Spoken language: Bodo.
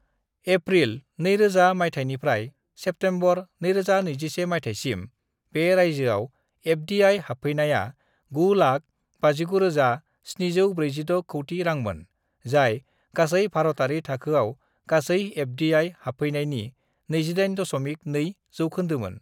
"एप्रिल 2000 मायथाइनिफ्राय सेप्टेम्बर 2021 मायथाइसिम, बे रायजोआव एफ.डि.आइ. हाबफैनाया 9,59,746 कौटि रांमोन, जाय गासै-भारतारि थाखोआव गासै एफ.डि.आइ. हाबफैनायनि 28.2 जौखोन्दोमोन।"